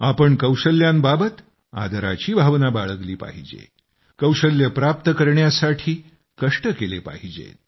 आपण कौशल्यांबाबत आदराची भावना बाळगली पाहिजे कौशल्ये प्राप्त करण्यासाठी कष्ट केले पाहिजेत